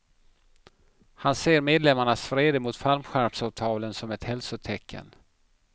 Han ser medlemmarnas vrede mot fallskärmsavtalen som ett hälsotecken.